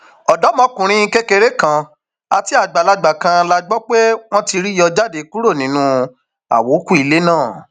ọdọmọkùnrin kékeré kan àti àgbàlagbà kan la gbọ pé wọn ti rí yọ jáde kúrò nínú àwókù ilé náà